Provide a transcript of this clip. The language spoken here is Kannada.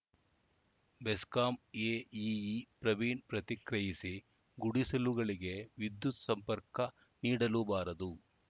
ಬೆಸ್ಕಾಂ ಎಇಇ ಪ್ರವೀಣ್‌ ಪ್ರತಿಕ್ರಿಯಿಸಿ ಗುಡಿಸಲುಗಳಿಗೆ ವಿದ್ಯುತ್‌ ಸಂಪರ್ಕ ನೀಡಲು ಬಾರದು